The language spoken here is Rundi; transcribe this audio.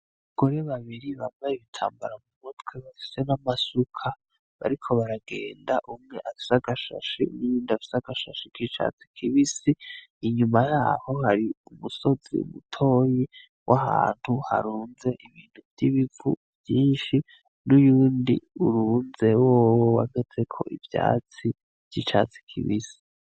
Abagore babiri bambaye ibitambara mu mutwe bafise n'amasuka bariko baragenda umwe afise agashashe nuwundi afise agashashe k'icatsi kibisi, inyuma yaho hari umusozi mutoyi w'ahantu harunze ibintu vy'ibivu vyinshi nuyundi urunze wowo uhagazeko ivyatsi vy'icatsi kibisi.